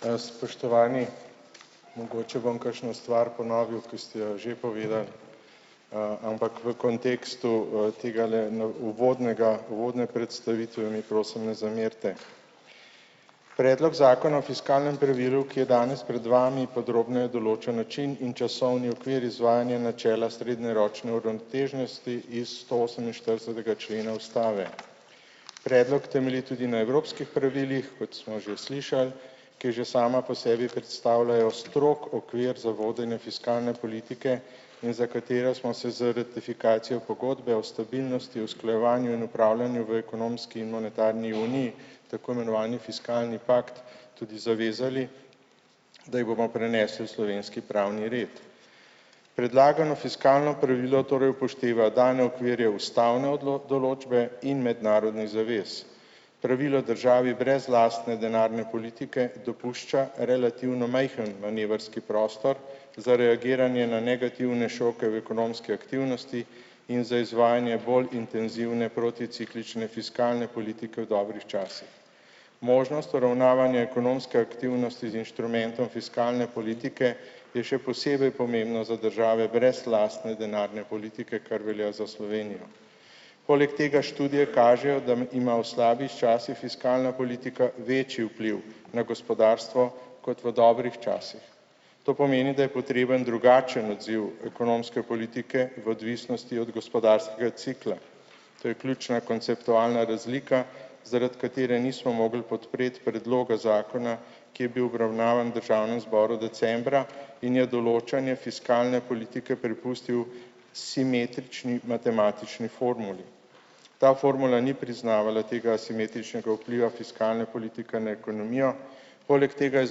Spoštovani mogoče bom kakšno stvar ponovil, ki ste jo že povedali, ampak v kontekstu, tegale uvodnega, uvodne predstavitve mi prosim ne zamerite. Predlog zakona o fiskalnem pravilu, ki je danes pred vami podrobneje določa način in časovni okvir izvajanja načela srednjeročne uravnoteženosti iz stooseminštiridesetega člena ustave. Predlog temelji tudi na evropskih pravilih, kot smo že slišali, ki že sama po sebi predstavljajo strog okvir za vodenje fiskalne politike in za katera smo za ratifikacijo pogodbe o stabilnosti, usklajevanju in opravljanju v ekonomski in monetarni uniji, tako imenovani fiskalni pakt, tudi zavezali, da jih bomo prenesli v slovenski pravni red. Predlagano fiskalno pravilo torej upošteva dane okvirje ustavne določbe in mednarodnih zavez. Pravilo državi brez lastne denarne politike dopušča relativno majhen manevrski prostor za reagiranje na negativne šoke v ekonomski aktivnosti in za izvajanje bolj intenzivne proticiklične fiskalne politike v dobrih časih. Možnost uravnavanja ekonomske aktivnosti z inštrumentom fiskalne politike je še posebej pomembna za države brez lastne denarne politike, kar velja za Slovenijo. Poleg tega študije kažejo, da ima v slabih časih fiskalna politika večji vpliv na gospodarstvo kot v dobrih časih. To pomeni, da je potreben drugačen odziv ekonomske politike v odvisnosti od gospodarskega cikla. To je ključna konceptualna razlika, zaradi katere nismo mogli podpreti predloga zakona, ki je bil obravnavan v državnem zboru decembra in je določanje fiskalne politike prepustil simetrični matematični formuli. Ta formula ni priznavala tega simetričnega vpliva fiskalne politike na ekonomijo, poleg tega je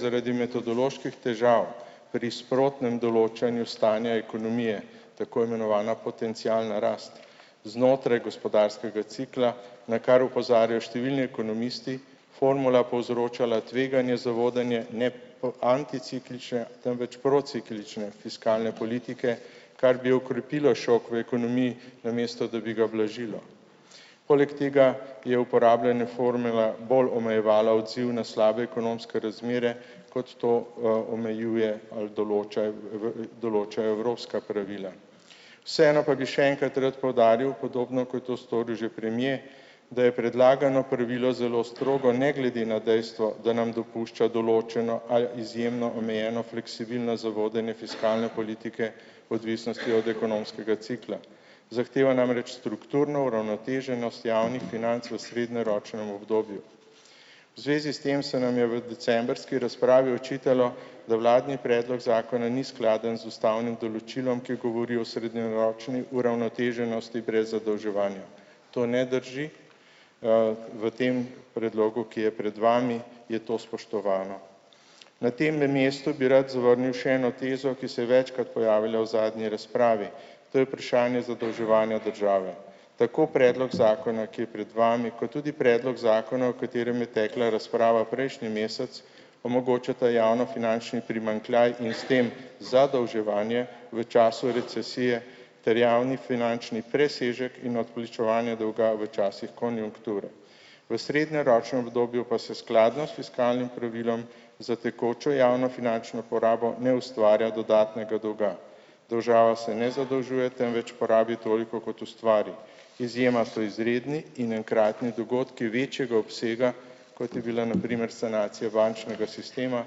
zaradi metodoloških težav pri sprotnem določanju stanja ekonomije tako imenovana potencialna rast znotraj gospodarskega cikla, na kar opozarjajo številni ekonomisti, formula povzročala tveganje za vodenje po anticiklične, temveč prociklične fiskalne politike, kar bi okrepilo šok v ekonomiji, namesto da bi ga ublažilo. Poleg tega je uporabljena formula bolj omejevala odziv na slabe ekonomske razmere, kot to, omejujejo ali določa v določajo evropska pravila. Vseeno pa bi še enkrat rad poudaril, podobno, kot je to storil že premier, da je predlagano pravilo zelo strogo ne glede na dejstvo, da nam dopušča določeno ali izjemno omejeno fleksibilnost za vodenje fiskalne politike odvisnosti od ekonomskega cikla. Zahteva namreč strukturno uravnoteženost javnih financ v srednjeročnem obdobju. V zvezi s tem se nam je v decembrski razpravi očitalo, da vladni predlog zakona ni skladen z ustavnim določilom, ki govori o srednjeročni uravnoteženosti brez zadolževanja. To ne drži. V tem predlogu, ki je pred vami, je to spoštovano. Na temle mestu bi rad zavrnil še eno tezo, ki se je večkrat pojavila v zadnji razpravi. To je vprašanje zadolževanja države. Tako predlog zakona, ki je pred vami, kot tudi predlog zakona, o katerem je tekla razprava prejšnji mesec, omogočata javnofinančni primanjkljaj in s tem zadolževanje v času recesije ter javnofinančni presežek in odplačevanje dolga v časih konjunkture. V srednjeročnem obdobju pa se skladno s fiskalnim pravilom za tekočo javno finančno porabo ne ustvarja dodatnega dolga. Država se ne zadolžuje, temveč porabi toliko, kot ustvari. Izjema so izredni in enkratni dogodki večjega obsega, kot je bila na primer sanacija bančnega sistema,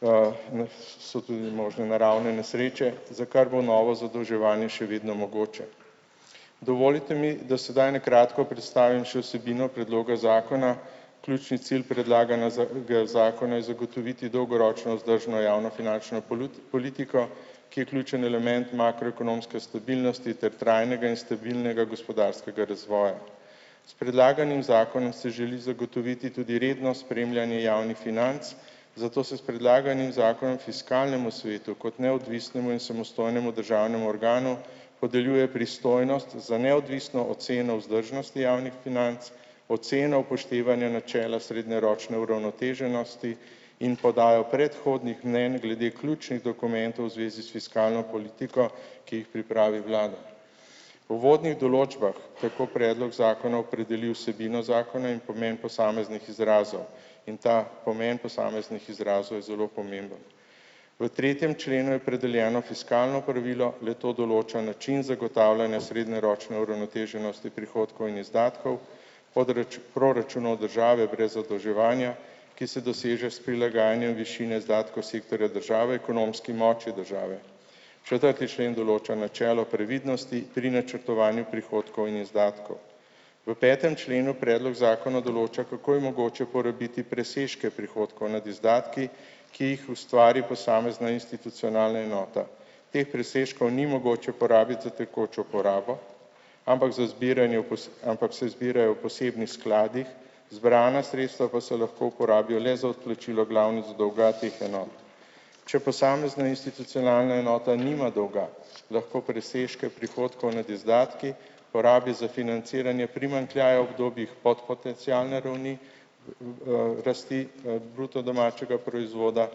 so tudi možne naravne nesreče, za kar bo novo zadolževanje še vedno mogoče. Dovolite mi, da sedaj na kratko predstavim še vsebino predloga zakona. Ključni cilj zakona je zagotoviti dolgoročno vzdržno javnofinančno politiko, ki je ključen element makroekonomske stabilnosti ter trajnega in stabilnega gospodarskega razvoja. S predlaganim zakonom se želi zagotoviti tudi redno spremljanje javnih financ, zato se s predlaganim zakonom fiskalnemu svetu kot neodvisnemu in samostojnemu državnemu organu podeljuje pristojnost za neodvisno oceno vzdržnosti javnih financ, oceno upoštevanja načela srednjeročne uravnoteženosti in podajo predhodnih mnenj glede ključnih dokumentov v zvezi s fiskalno politiko, ki jih pripravi vlada. V uvodnih določbah tako predlog zakona opredeli vsebino zakona in pomen posameznih izrazov in ta pomen posameznih izrazov je zelo pomemben. V tretjem členu je opredeljeno fiskalno pravilo, le-to določa način zagotavljanja srednjeročne uravnoteženosti prihodkov in izdatkov, proračun od države brez zadolževanja, ki se doseže s prilagajanjem višine izdatkov sektorja države, ekonomski moči države. Četrti člen določa načelo previdnosti pri načrtovanju prihodkov in izdatkov. V petem členu predlog zakona določa, kako je mogoče porabiti presežke prihodkov nad izdatki, ki jih ustvari posamezna institucionalna enota. Teh presežkov ni mogoče porabiti za tekočo porabo, ampak za zbiranje ampak se zbirajo v posebnih skladih. Zbrana sredstva pa se lahko uporabijo le za odplačilo glavnic dolga teh enot. Če posamezna institucionalna enota nima dolga, lahko presežke prihodkov nad izdatki porabi za financiranje primanjkljajev, kdo bi jih pod potencialne ravni, rasti, bruto domačega proizvoda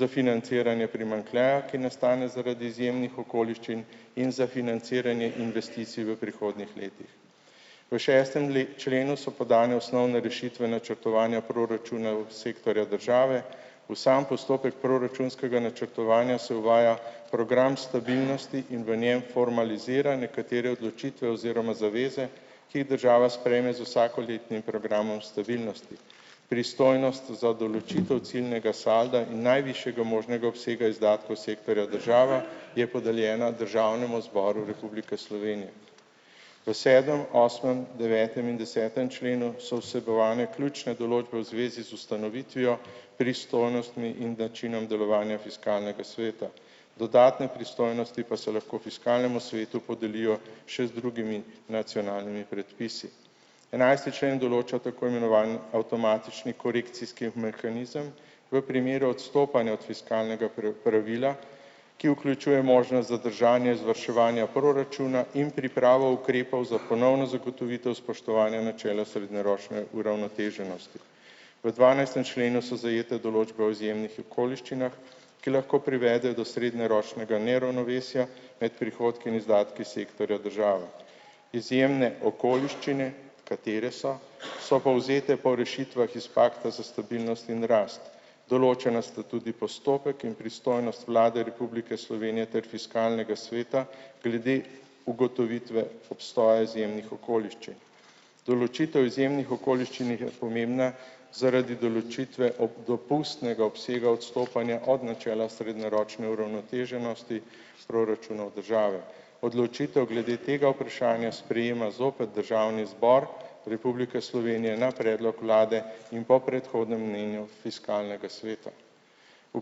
za financiranje primanjkljaja, ki nastane zaradi izjemnih okoliščin in za financiranje investicij v prihodnjih letih. V šestem členu so podane osnovne rešitve načrtovanja proračuna sektorja države. V sam postopek proračunskega načrtovanja se uvaja program stabilnosti in v njem formalizira nekatere odločitve oziroma zaveze, ki jih država sprejme z vsakoletnim programom stabilnosti. Pristojnost za določitev ciljnega salda in najvišjega možnega obsega izdatkov sektorja države je podeljena Državnemu zboru Republike Slovenije. V sedmem, osmem, devetem in desetem členu so vsebovane ključne določbe v zvezi z ustanovitvijo pristojnostmi in načinom delovanja fiskalnega sveta. Dodatne pristojnosti pa se lahko fiskalnemu svetu podelijo še z drugimi nacionalnimi predpisi. Enajsti člen določa tako imenovani avtomatični korekcijski mehanizem v primeru odstopanja od fiskalnega pravila, ki vključuje možnost za držanje izvrševanja proračuna in pripravo ukrepov za ponovno zagotovitev spoštovanja načela srednjeročne uravnoteženosti. V dvanajstem členu so zajete določbe o izjemnih okoliščinah, ki lahko privedejo do srednjeročnega neravnovesja med prihodki in izdatki sektorja države. Izjemne okoliščine, katere so so povzete po rešitvah iz pakta za stabilnost in rast. Določena sta tudi postopek in pristojnost Vlade Republike Slovenije ter fiskalnega sveta glede ugotovitve obstoja izjemnih okoliščin. Določitev izjemnih okoliščin je pomembna zaradi določitve ob dopustnega obsega odstopanja od načela srednjeročne uravnoteženosti proračuna v državi. Odločitev glede tega vprašanja sprejema zopet Državni zbor Republike Slovenije na predlog vlade in po predhodnem mnenju fiskalnega sveta. V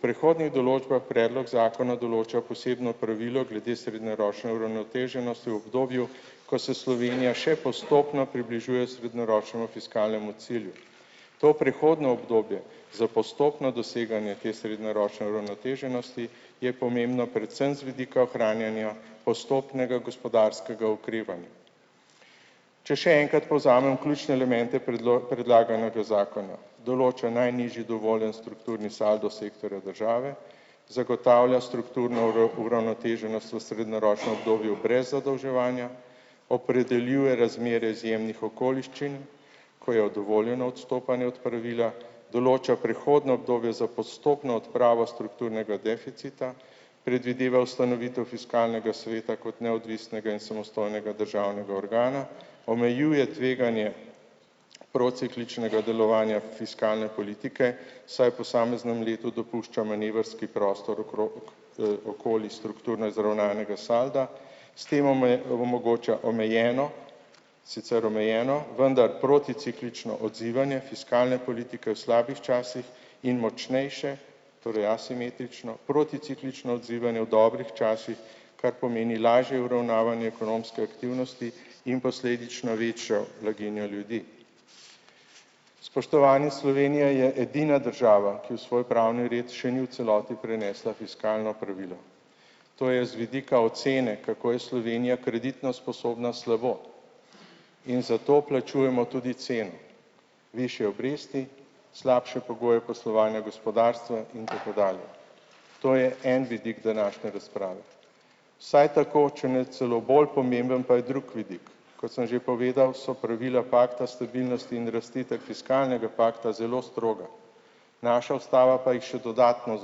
prihodnjih določbah predlog zakona določa posebno pravilo glede srednjeročne uravnoteženosti v obdobju, ko se Slovenija še postopno približuje srednjeročnemu fiskalnemu cilju. To prehodno obdobje za postopno doseganje te srednjeročne uravnoteženosti je pomembno predvsem z vidika ohranjanja postopnega gospodarskega okrevanja. Če še enkrat povzamem ključne elemente predlaganega zakona. Določa najnižji dovoljeni strukturni saldo sektorja države, zagotavlja strukturno uravnoteženost v srednjeročnem obdobju brez zadolževanja, opredeljuje razmerje izjemnih okoliščin, ko je dovoljeno odstopanje od pravila, določa prehodno obdobje za postopno odpravo strukturnega deficita, predvideva ustanovitev fiskalnega sveta kot neodvisnega in samostojnega državnega organa, omejuje tveganje procikličnega delovanja fiskalne politike, saj posameznem letu dopušča manevrski prostor okrog, okoli strukturno izravnanega salda, s tem omogoča omejeno sicer omejeno, vendar proticiklično odzivanje fiskalne politike v slabih časih in močnejše torej asimetrično, proticiklično odzivanje v dobrih časih, kar pomeni lažje uravnavanje ekonomske aktivnosti in posledično večjo blaginjo ljudi. Spoštovani, Slovenija je edina država, ki v svoj pravni red še ni v celoti prenesla fiskalno pravilo. To je z vidika ocene, kako je Slovenija kreditno sposobna, slabo in zato plačujemo tudi ceno. Višje obresti, slabše pogoje poslovanja gospodarstva in tako dalje. To je en vidik današnje razprave. Vsaj tako, če ne celo bolj pomemben pa je drug vidik. Kot sem že povedal, so pravila pakta stabilnosti in rasti ter fiskalnega pakta zelo stroga. Naša ustava pa jih še dodatno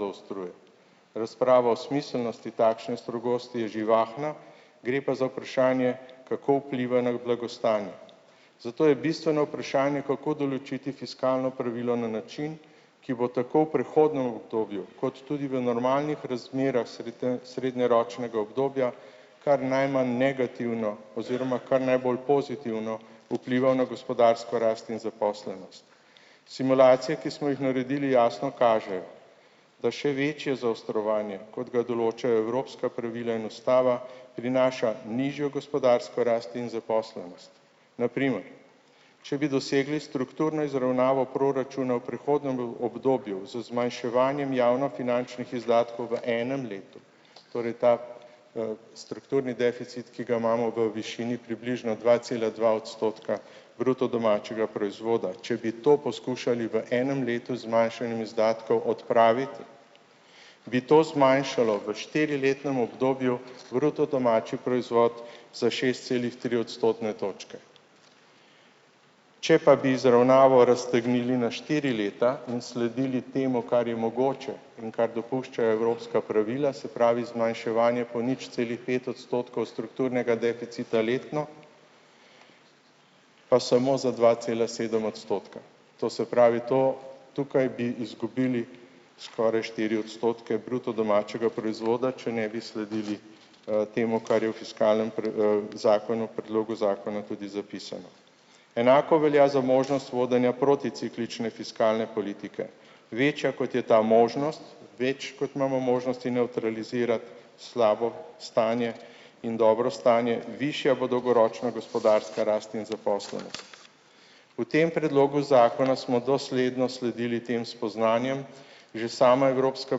zaostruje. Razprava o smiselnosti takšne strogosti je živahna, gre pa za vprašanje, kako vpliva na blagostanje. Zato je bistveno vprašanje, kako določiti fiskalno pravilo na način, ki bo tako v prehodnem obdobju kot tudi v normalnih razmerah srednjeročnega obdobja kar najmanj negativno oziroma kar najbolj pozitivno vplival na gospodarsko rast in zaposlenost. Simulacije, ki smo jih naredili, jasno kažejo. Da še večje zaostrovanje, kot ga določajo evropska pravila in ustava, prinaša nižjo gospodarsko rast in zaposlenost. Na primer, če bi dosegli strukturno izravnavo proračuna v prehodnem obdobju z zmanjševanjem javnofinančnih izdatkov v enem letu, torej ta, strukturni deficit, ki ga imamo v višini približno dva cela dva odstotka bruto domačega proizvoda. Če bi to poskušali v enem letu zmanjšanjem izdatkov odpraviti, bi to zmanjšalo v štiriletnem obdobju bruto domači proizvod za šest celih tri odstotne točke. Če pa bi izravnavo raztegnili na štiri leta in sledili temu, kar je mogoče in kar dopuščajo evropska pravila, se pravi, zmanjševanje po nič cela pet odstotkov strukturnega deficita letno, pa samo za dva cela sedem odstotka. To se pravi, to tukaj bi izgubili skoraj štiri odstotke bruto domačega proizvoda, če ne bi sledili, temu, kar je v fiskalnem zakonu, predlogu zakona tudi zapisano. Enako velja za možnost vodenja proticiklične fiskalne politike. Večja, kot je ta možnost, več, kot imamo možnosti nevtralizirati slabo stanje in dobro stanje, višja bo dolgoročna gospodarska rast in zaposlenost. Po tem predlogu zakona smo dosledno sledili tem spoznanjem, že sama evropska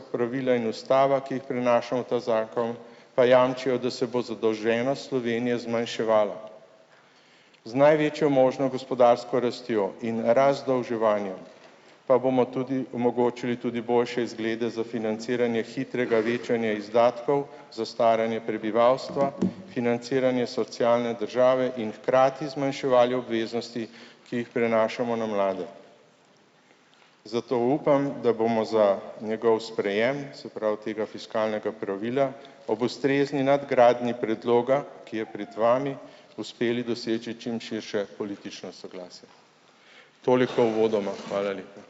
pravila in ustava, ki jih prinaša v ta zakon, pa jamčijo, da se bo zadolženost Slovenije zmanjševala. Z največjo možno gospodarsko rastjo in razdolževanjem pa bomo tudi omogočili tudi boljše izglede za financiranje hitrega večanja izdatkov za staranje prebivalstva, financiranja socialne države in hkrati zmanjševali obveznosti, ki jih prenašamo na mlade. Zato upam, da bomo za njegov sprejem, se pravi tega fiskalnega pravila, ob ustrezni nadgradnji predloga, ki je pred vami, uspeli doseči čim širše politično soglasje. Toliko uvodoma, hvala lepa.